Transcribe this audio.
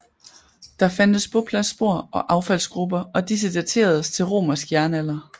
Der fandtes bopladsspor og affaldsgruber og disse dateredes til romersk jernalder